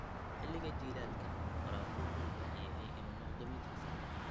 Xilliga jiilaalka, waraabku wuxuu u baahan yahay inuu noqdo mid hufan.